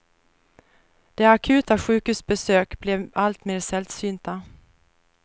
De akuta sjukhusbesök blev alltmer sällsynta.